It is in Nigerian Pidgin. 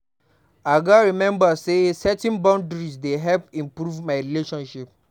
I gats remember say setting boundaries dey help improve my relationships.